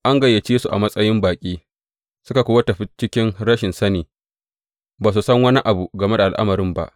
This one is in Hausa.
An gayyace su a matsayin baƙi, suka kuwa tafi cikin rashin sani, ba su san wani abu game da al’amarin ba.